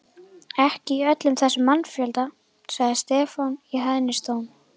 Ekki í öllum þessum mannfjölda, sagði Stefán í hæðnistón.